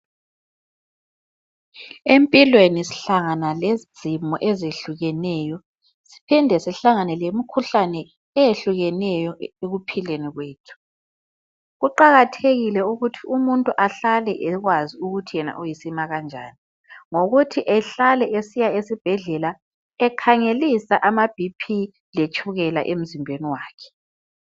Empilweni sihlangana lezimo ezehlukeneyo. Siphinde sihlangane lemikhuhlane eyehlukeneyo ekuphileni kwethu. Kuqakathekile ukuthi umuntu ahlale ekwazi ukuthi yena uyisima kanjani ngokuthi ehlale esiya esibhedlela ekhangelisa ama BP letshukela emzimbeni wakhe.